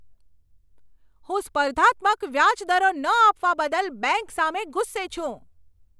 હું સ્પર્ધાત્મક વ્યાજ દરો ન આપવા બદલ બેંક સામે ગુસ્સે છું.